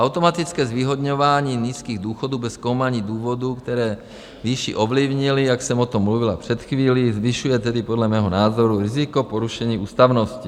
Automatické zvýhodňování nízkých důchodů bez zkoumání důvodů, které výši ovlivnily, jak jsem o tom mluvila před chvílí, zvyšuje tedy podle mého názoru riziko porušení ústavnosti.